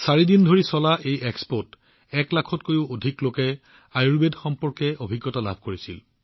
চাৰি দিন ধৰি চলা এই মেলাত এক লাখতকৈও অধিক লোকে আয়ুৰ্বেদ সম্পৰ্কীয় অভিজ্ঞতা লাভ কৰিছিল